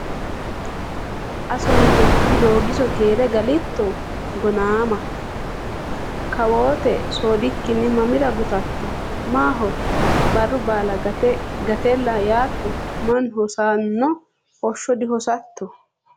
Asso Mite kkII Doogiso Keere galitto Gonnama? Kawoote soodikkinni mamira gutatto? Maaho barru baala gate gatella yaatto? Mannu hosanno hoshsha dihosatto?